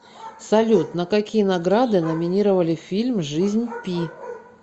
салют на какие награды номинировали фильм жизнь пи